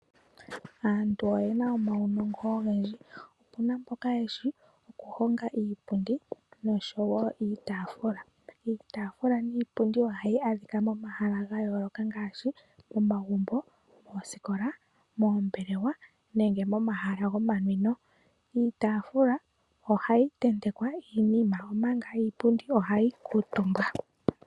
Aantu oye na omaunongo ogendji. Opu na mboka ye shi okuhonga iipundi nosho wo iitaafula. Iitaafula niipundi ohayi adhika momahala ga yooloka ngaashi momagumbo, moosikola, moombelewa nenge momahala gomanwino. Iitaafula ohayi tentekwa iinima, omanga iipundi ohayi kuutumbwa.